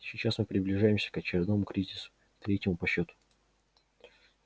сейчас мы приближаемся к очередному кризису третьему по счету